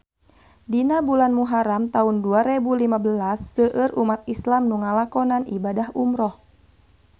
Dina bulan Muharam taun dua rebu lima belas seueur umat islam nu ngalakonan ibadah umrah